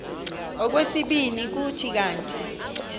okwesibini kuthi kanti